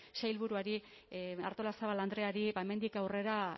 sailburuari artolazabal andreari hemendik aurrera